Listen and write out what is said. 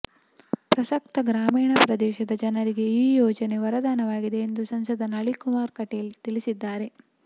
ಪ್ರಸಕ್ತ ಗ್ರಾಮೀಣ ಪ್ರದೇಶದ ಜನರಿಗೆ ಈ ಯೋಜನೆ ವರದಾನವಾಗಿದೆ ಎಂದು ಸಂಸದ ನಳಿನ್ ಕುಮಾರ್ ಕಟೀಲ್ ತಿಳಿಸಿದ್ದಾರೆ